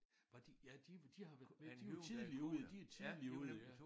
Var de ja de de har været ja de var tidligt ude de tidligt ude ja